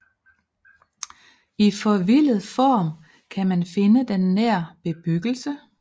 I forvildet form kan man finde den nær bebyggelse